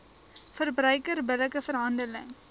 verbruiker billike verhandeling